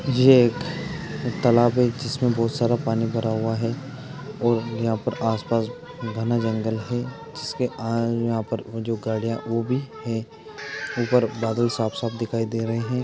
ये एक तालाब है जिसमें बहुत सारा पानी भरा हुआ है। और यहां पर आस-पास घना जंगल है। जिसके कारण यहां पर वो जो वो भी है। ऊपर बादल साफ साफ दिखाई दे रहे हैं।